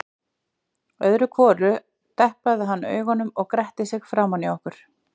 Öðru hvoru deplaði hann augunum eða gretti sig framan í okkur.